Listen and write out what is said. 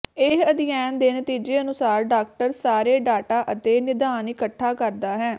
ਇਹ ਅਧਿਐਨ ਦੇ ਨਤੀਜੇ ਅਨੁਸਾਰ ਡਾਕਟਰ ਸਾਰੇ ਡਾਟਾ ਅਤੇ ਿਨਦਾਨ ਇਕੱਠਾ ਕਰਦਾ ਹੈ